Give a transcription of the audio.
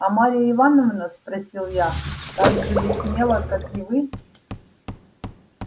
а марья ивановна спросил я так же ли смела как и вы